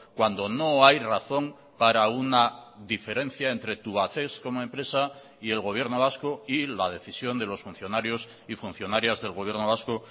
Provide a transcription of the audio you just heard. cuando no hay razón para una diferencia entre tubacex como empresa y el gobierno vasco y la decisión de los funcionarios y funcionarias del gobierno vasco